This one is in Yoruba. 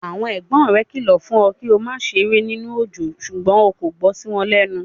Àwọn ẹ̀gbọ́n rẹ kìlọ̀ fún ọ kí o má ṣeré nínú òjò ṣùgbọ́n o kò gbọ́ sí wọn lẹ́nu.